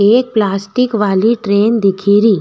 एक प्लास्टिक वाली ट्रैन दिखेरी।